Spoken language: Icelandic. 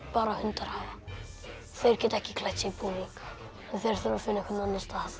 bara hundar hafa þeir geta ekki klætt sig í búning og þeir þurfa að finna einhvern annan stað